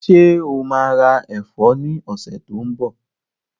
Ṣé o maa ra ẹ̀fọ́ ní ọ̀sẹ̀ tí ó ń bọ̀?